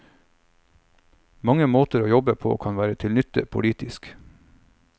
Mange måter å jobbe på kan være til nytte politisk.